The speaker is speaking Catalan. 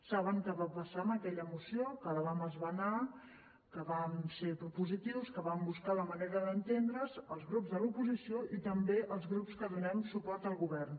saben què va passar amb aquella moció que la vam esmenar que vam ser propositius que vam buscar la manera d’entendre’ns els grups de l’oposició i també els grups que donem suport al govern